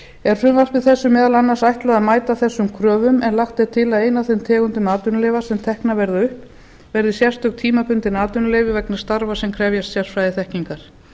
er frumvarpi þessu meðal annars ætlað að mæta þessu kröfum en lagt er til að ein af þeim tegundum atvinnuleyfa sem teknar verði upp verði sérstök tímabundið atvinnuleyfi vegna starfa sem krefjast sérfræðiþekkingar